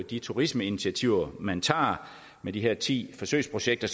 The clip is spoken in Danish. de turismeinitiativer man tager med de her ti forsøgsprojekter